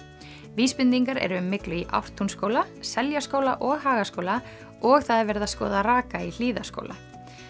vísbendingar eru um myglu í Ártúnsskóla Seljaskóla og Hagaskóla og það er verið að skoða raka í Hlíðaskóla